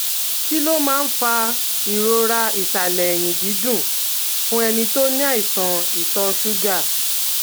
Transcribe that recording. Kí ló máa ń fa ìrora ìsàlẹ̀ ẹ̀yìn dídùn fún ẹni tó ní àìsàn ìtọ̀ ṣúgà?